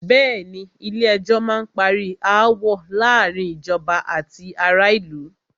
Bẹ̀ẹ́ni, Ilé ẹjọ́ má n parí aáwọ̀ láàárín ìjọba àti ará ìlú.